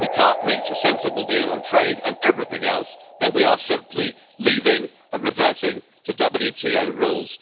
If we can't reach a sensible deal on trade and everything else, then we are simply leaving and reverting to WTO rules'.